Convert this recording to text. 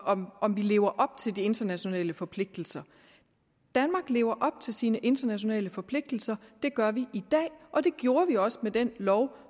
om om vi lever op til de internationale forpligtelser danmark lever op til sine internationale forpligtelser det gør vi i dag og det gjorde vi også med den lov